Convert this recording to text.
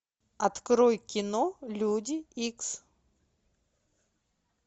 открой кино люди икс